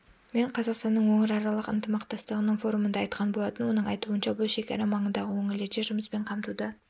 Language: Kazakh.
мен қазақстанның өңіраралық ынтымақтастығының форумында айтқан болатын оның айтуынша бұл шекара маңындағы өңірлерде жұмыспен қамтуды